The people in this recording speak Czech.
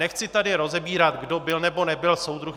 Nechci tady rozebírat, kdo byl, nebo nebyl soudruh.